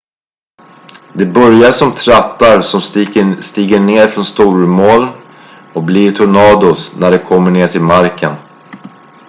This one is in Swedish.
"de börjar som trattar som stiger ned från stormmoln och blir "tornados" när de kommer ner till marken.